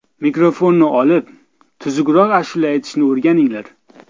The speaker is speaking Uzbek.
Mikrofonni olib, tuzukroq ashula aytishni o‘rganinglar.